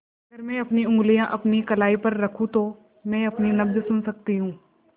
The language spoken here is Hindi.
अगर मैं अपनी उंगलियाँ अपनी कलाई पर रखूँ तो मैं अपनी नब्ज़ सुन सकती हूँ